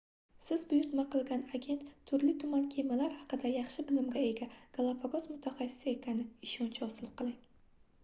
siz buyurtma qilgan agent turli-tuman kemalar haqida yaxshi bilimga ega galapagos mutaxassisi ekaniga ishonch hosil qiling